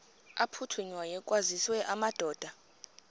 aphuthunywayo kwaziswe amadoda